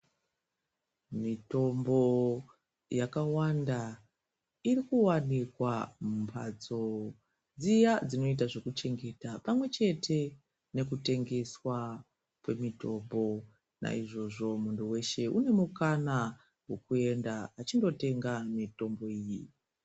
Mitombo yakawanda irikuwanikwa mbatso dziya dzinoita zvekuchengeta mekutengeswa kwwmitombo naizvozvo muntu weshe unemukana wekuenda achinotenga mitombo iyi.